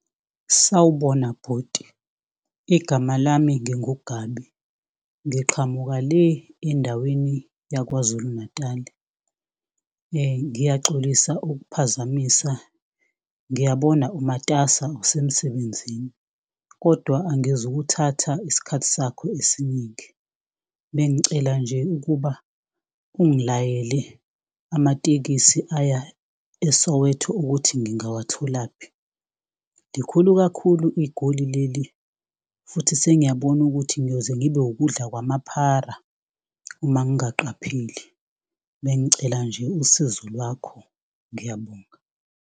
Sawubona bhuti, igama lami nginguGabi ngiqhamuka le endaweni yaKwaZulu-Natali. Ngiyaxolisa ukuphazamisa, ngiyabona umatasa usemsebenzini kodwa angizukuthatha isikhathi sakho esiningi. Bengicela nje ukuba ungilayele amatekisi aya eSowetho ukuthi ngingawatholaphi. Likhulu kakhulu iGoli leli futhi sengiyabona ukuthi ngiyoze ngibe ukudla kwamaphara uma ungaqapheli. Bengicela nje usizo lwakho ngiyabonga.